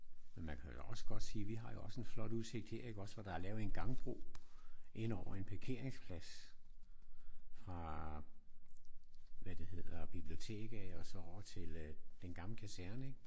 Men man kan jo vel også godt sige vi har jo også en flot udsigt her iggås? Hvor der er lavet en gangbro indover en parkeringsplads fra hvad det hedder biblioteket af og så over til den gamle kaserne ik?